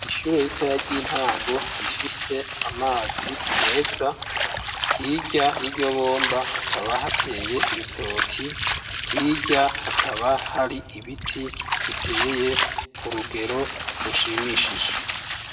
Ishure ritoya ry'intango rifise amazi meza, hirya y'iryo bomba hakaba hateye ibitoki, hirya hakaba hari ibiti biteye ku rugero rushimishije.